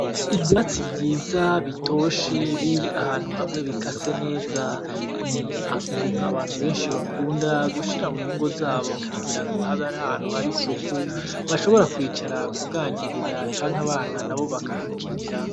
Ivyatsi vyiza bitoshe biri ahantu hamwe bikase neza ni Ibintu abantu benshi bakunda gushira mungo zabo kugirango habe ar'ahantu hari isuku bashobora kwicara , kuganirira canke abana nabo bakahakinira .